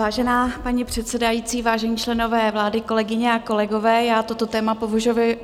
Vážená paní předsedající, vážení členové vlády, kolegyně a kolegové, já toto téma